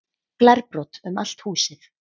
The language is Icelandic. Glerbrot um allt húsið